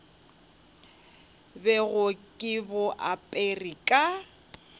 bego ke bo apere ka